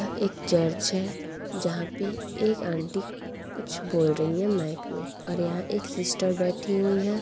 एक चर्च है जहाँ पे एक आंटी कुछ बोल रही है माइक मे और यहाँ एक सिस्टर बैठी हुई है।